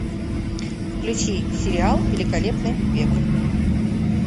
включи сериал великолепный век